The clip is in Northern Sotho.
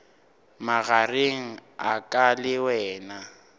magareng a ka le wena